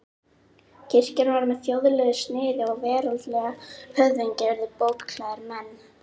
Kirkjan varð með þjóðlegu sniði og veraldlegir höfðingjar urðu bóklærðir menn.